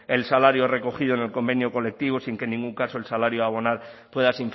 el salario recogido en el convenio colectivo sin que en ningún caso el salario a abonar pueda